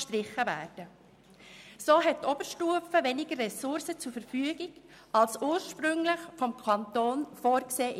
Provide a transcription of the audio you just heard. Dadurch hat die Oberstufe weniger Ressourcen zur Verfügung als ursprünglich vom Kanton vorgesehen.